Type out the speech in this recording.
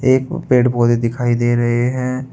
एक पेड़ पौधे दिखाई दे रहे हैं।